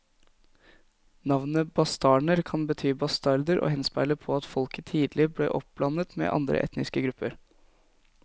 Navnet bastarner kan bety bastarder og henspeiler på at folket tidlig ble oppblandet med andre etniske grupper.